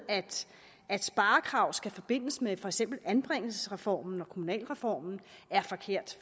at sparekrav skal forbindes med for eksempel anbringelsesreformen og kommunalreformen er forkert